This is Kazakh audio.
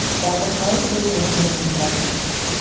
жалпы қалай сездің көңілің толатынын